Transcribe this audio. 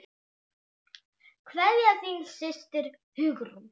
Kveðja, þín systir, Hugrún.